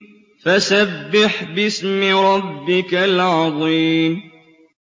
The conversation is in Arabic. فَسَبِّحْ بِاسْمِ رَبِّكَ الْعَظِيمِ